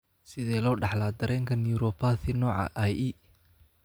Sidee loo dhaxlaa dareenka neuropathy nooca IE?